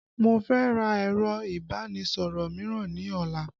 Mo fẹ́ ra ẹ̀rọ ìbánisọ̀rọ̀ mìíràn ní ọ̀la